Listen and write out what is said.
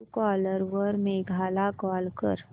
Truecaller वर मेघा ला call कर